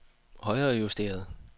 højrejusteret